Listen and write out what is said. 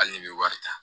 Hali ni bɛ wari ta